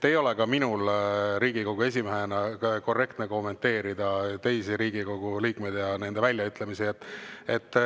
Ei ole ka minul Riigikogu esimehena korrektne kommenteerida teisi Riigikogu liikmeid ja nende väljaütlemisi.